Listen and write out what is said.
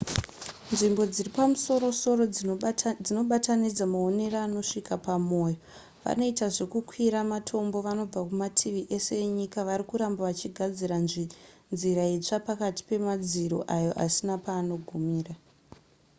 nzvimbo dziri pamusoro-soro dzinobatanidza maonero anosvika pamoyo vanoita zvekukwira matombo vanobva kumativi ese enyika vari kuramba vachigadzira nzira itsva pakati pemadziro ayo asina paanogumira